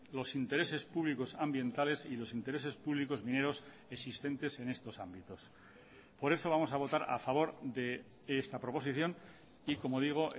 los intereses públicos ambientales y los intereses públicos mineros existentes en estos ámbitos por eso vamos a votar a favor de esta proposición y como digo